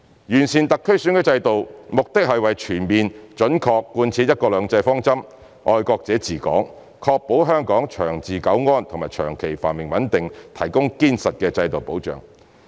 完善特區選舉制度，目的是為全面準確貫徹"一國兩制"方針、"愛國者治港"，確保香港長治久安和長期繁榮穩定提供堅實的制度保障。